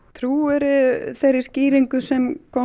trúirðu þeirri skýringu sem